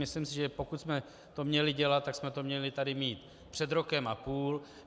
Myslím si, že pokud jsme to měli dělat, tak jsme to tady měli mít před rokem a půl.